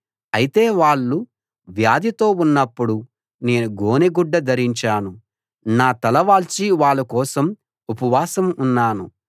అయితే వాళ్ళు వ్యాధితో ఉన్నప్పుడు నేను గోనె గుడ్డ ధరించాను నా తల వాల్చి వాళ్ళ కోసం ఉపవాసం ఉన్నాను